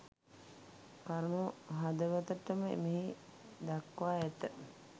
කරුණු හදවතටම මෙහි දක්වා ඇත.